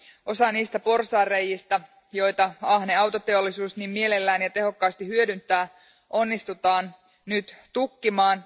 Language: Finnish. Osa niistä porsaanrei´istä, joita ahne autoteollisuus niin mielellään ja tehokkaasti hyödyntää, onnistutaan nyt tukkimaan.